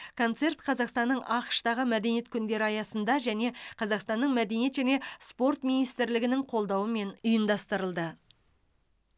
концерт қазақстанның ақш тағы мәдениет күндері аясында және қазақстанның мәдениет және спорт министрлігінің қолдауымен ұйымдастырылды